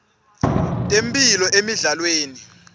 temphilo emidlalweni